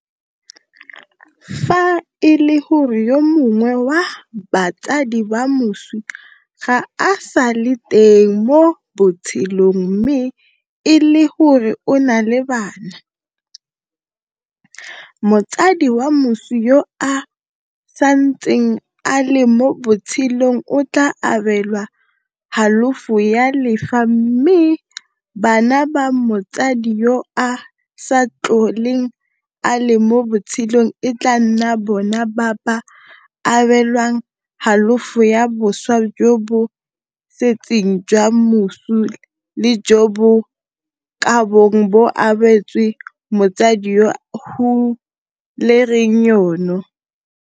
Fa e le gore yo mongwe wa batsadi ba moswi ga a sa le teng mo botshelong mme e le gore o na le bana, motsadi wa moswi yo a santseng a le mo botshelong o tla abelwa halofo ya lefa mme bana ba motsadi yo a sa tlholeng a le mo botshelong e tla nna bona ba ba abelwang halofo ya boswa jo bo setseng jwa moswi le jo bo kabong bo abetswe motsadi yo a hulereng yono.